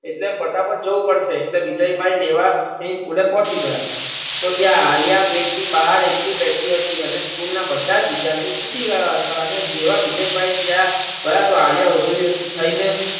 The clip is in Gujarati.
એટલે ફટા ફટ જવું પડશે એટલે વિજયભાઈ લેવા તેની School પહોંચી ગયા તો ત્યાં આલ્યા ગેટની બહાર એકલી બેઠી હતી અને School ના બધાજ વિદ્યાર્થીઓ છૂટી ગયા હતા અને જેવા વિજયભાઈ ત્યાં ગયા તો આલ્યા ઉભી થાયને